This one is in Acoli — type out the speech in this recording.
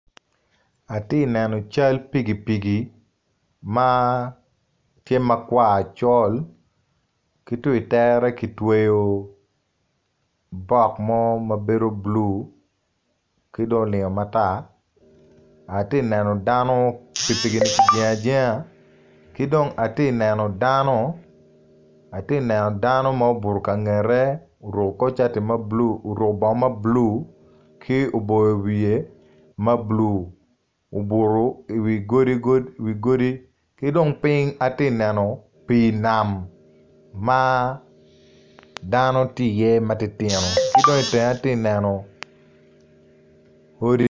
Aye neno cal pikipiki ma tye ma col kwar col ki tu i tere kitweyo bok mo mabedo blue ki dong olingo matar, atye neno dano pikipiki ki jengo ajenga kidong atye neno dano ma obuto i kangete oruko kor cati mablue ki oboyo wiye ma blue obuto i wi godi ki dong ping atye neno pi nam ma dano tye i ye matitino ki dong i tenge atye neno odi,